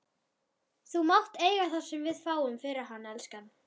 Þú mátt eiga það sem við fáum fyrir hann, elskan.